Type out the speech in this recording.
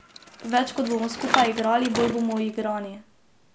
Več kot bomo skupaj igrali, bolj bomo uigrani.